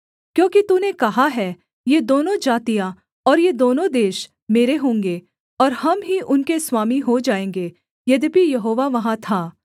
क्योंकि तूने कहा है ये दोनों जातियाँ और ये दोनों देश मेरे होंगे और हम ही उनके स्वामी हो जाएँगे यद्यपि यहोवा वहाँ था